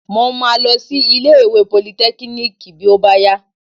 Mo máa lọ sí ilé ìwé politẹ́kíníìkì bí ó bá yá.